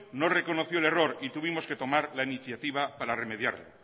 no reconoció el error y tuvimos que tomar la incitaba para remediarlo